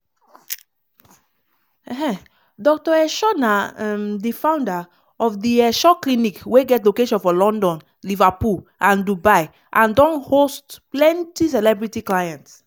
um dr esho na um di founder of di esho clinic wey get location for london liverpool and dubai and don host plenty celebrity clients.